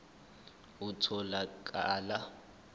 itholakala kuwo onke